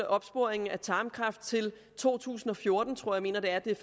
opsporing af tarmkræft til to tusind og fjorten mener jeg det er